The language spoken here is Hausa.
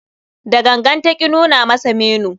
Da gangan ta ki nuna masa menu.